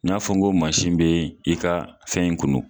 I y'a fɔ ko mansin be i ka fɛn in kunu